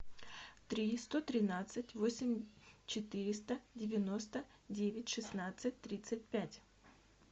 три сто тринадцать восемь четыреста девяносто девять шестнадцать тридцать пять